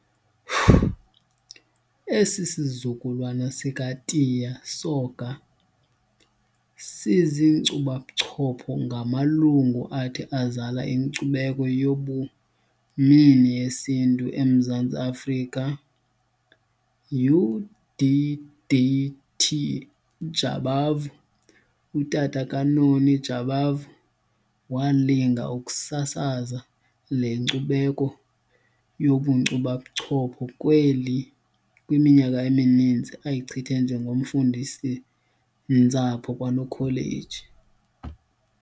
Esi sizukulwana sikaTiya Soga sizinkcubabuchopho ngamalungu athi azala inkcubeko yabumini yesiNtu eMzantsi Afrika. UD.D.T. Jabavu, utata kaNoni Jabavu, walinga ukusasaza le nkcubeko yobunkcubabuchopho kweli kwiminyaka emininzi ayichithe njengomfundisi-ntsapho KwaNokholeji.